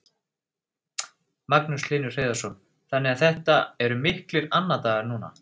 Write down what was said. Magnús Hlynur Hreiðarsson: Þannig að þetta eru miklir annadagar núna?